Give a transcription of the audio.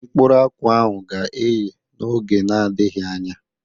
Mkpụrụ akwụ ahụ ga-eye n'oge na-adịghị anya.